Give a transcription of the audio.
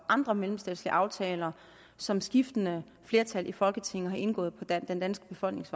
andre mellemstatslige aftaler som skiftende flertal i folketinget har indgået på den danske befolknings